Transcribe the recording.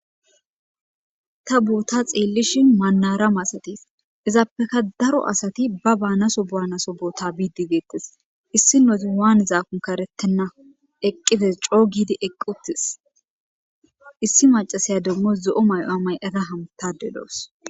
Ta boota xeellishi manara masatis izaappeka daro asati ba baanaso buaanaso boota biidibeettes; issi nozi waan zaakun karettenna eqqides coo giidi eqqutis issi macasaya demmos zo7o may7o amay era hamtade loos.